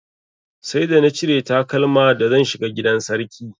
Sai da na cire takalma da zan shiga gidan sarki.